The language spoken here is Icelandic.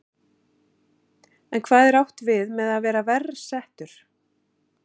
En hvað er átt við með að vera verr settur?